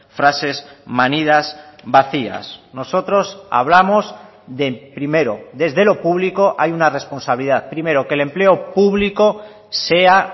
frases manidas vacías nosotros hablamos de primero desde lo público hay una responsabilidad primero que el empleo público sea